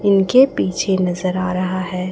इनके पीछे नजर आ रहा है।